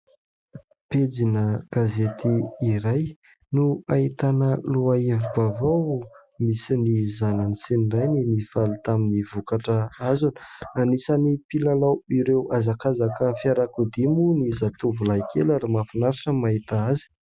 Pejina gazety iray no ahitana lohahevi-bavao misy ny zanany sy ny rainy mifaly tamin'ny vokatra hazony. Anisany mpilalao ireo hazakazaka fiarakodia moa ny zatovolahy kely ary mafinaritra no mahita azy.